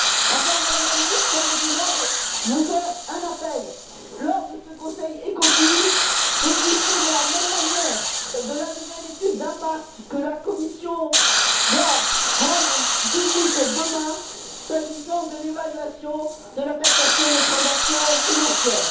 Enfin, Madame la Ministre, permettez moi de vous appeler, lors de ce Conseil ECOFIN, à tenir compte de la même manière de la nouvelle étude d'impact que la Commission doit rendre publique demain, s'agissant de l'évaluation de la taxation des transactions financières.